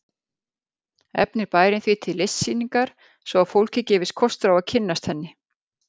Efnir bærinn því til listsýningar svo að fólki gefist kostur á að kynnast henni.